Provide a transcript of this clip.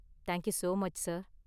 Thank you so much, sir.